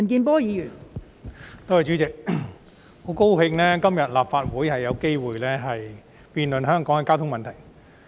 代理主席，我很高興立法會今天可以就香港的交通問題進行辯論。